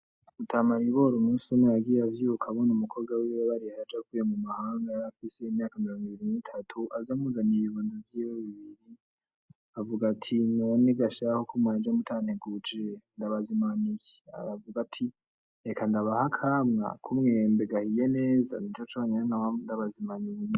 Mutama Ribori umusi umwe yagiye avyuka abona umukobwa wiwe bareha aje avuye mu mahanga yarafise imyaka mirongo ibiri nitatu aza amuzaniye ibibondo vyiwe bibiri, avuga ati:'' None ga sha ko mwaje mutanteguje ndabazimana iki?'' Aravuga ati:''Reka ndabahe akamwa ku mwembe gahiye neza nico conyene noronka ndabazimana.''